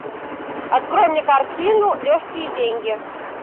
открой мне картину легкие деньги